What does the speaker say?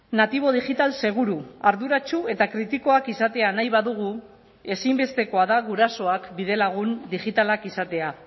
natibo digital seguru arduratsu eta kritikoak izatea nahi badugu ezinbestekoa da gurasoak bidelagun digitalak izatea